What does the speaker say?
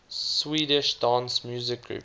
swedish dance music groups